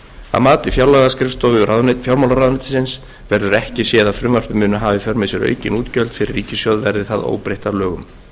að mati fjárlagaskrifstofu fjármálaráðuneytisins verður ekki séð að frumvarpið muni hafa í för með sér aukin útgjöld fyrir ríkissjóð verði það óbreytt að lögum